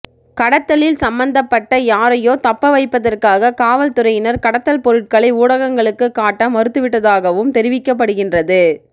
கடத்தலில் சம்மந்தப்பட்ட யாரையோ தப்ப வைப்பதற்காக காவல்துறையினர் கடத்தல் பொருட்களை ஊடகங்களுக்கு காட்ட மறுத்து விட்டதாகவும் தெரிவிக்கப்படுகின்றது